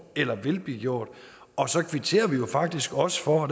eller vil blive gjort og så kvitterer vi jo faktisk også for og